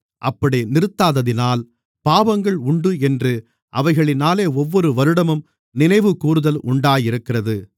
அப்படி நிறுத்தாததினால் பாவங்கள் உண்டு என்று அவைகளினாலே ஒவ்வொரு வருடமும் நினைவுகூருதல் உண்டாயிருக்கிறது